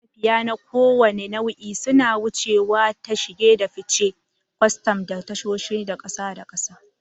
Matafiya na kowane nau'i suna wucewa ta shige da fice da kwastam a tashoshin ƙasa da ƙasa.